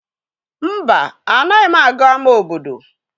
Mba, anaghị m aga ama obodo.